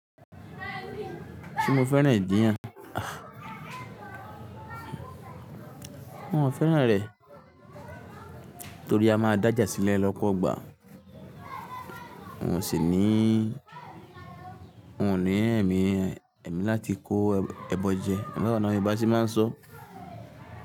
Ṣé mo fẹ́ràn ìjiyan Aah, mo fẹ́ràn rẹ̀ torí a máa dáàjà sílẹ̀ lọ́pọ̀ igba mo sì ní, n ò ní ẹ̀mí, ẹ̀mí láti kó ẹbọ jẹ. Ẹ̀rọ bàdánà ibi bá ṣe máa ń sọ.